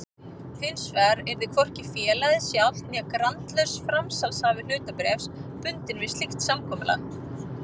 Hinsvegar yrði hvorki félagið sjálft né grandlaus framsalshafi hlutabréfs bundinn við slíkt samkomulag.